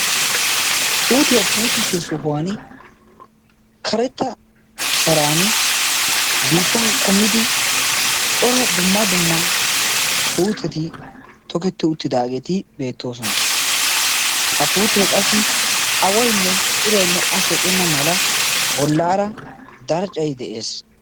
Puutiyaa puutisiyo sohuwan karetta sharan biittan kummidi cora dumma dumma puuteti toketti uttidaageeti beettoosona. ha puutee qassi awainne iraynne a shocenna mala bollaara darccay de'ees